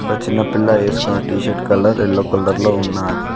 ఒక చిన్న పిల్ల వేసుకున్న టీషర్ట్ కలర్ ఎల్లో కలర్ లో ఉన్నాది.